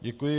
Děkuji.